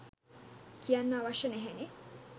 කියන්න අවශ්‍යය නැහැනේ